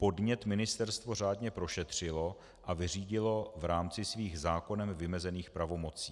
Podnět ministerstvo řádně prošetřilo a vyřídilo v rámci svých zákonem vymezených pravomocí.